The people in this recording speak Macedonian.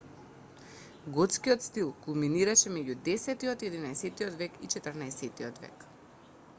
готскиот стил кулминираше меѓу 10 и 11 век и 14 век